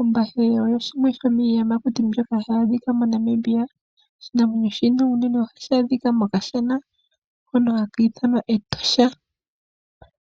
Ombahe oyo yimwe yomiiyamakuti mbyoka hayi adhika moNamibia. Oshinanwenyo shino unene ohashi adhika mokashana hono haka ithanwa Etosha.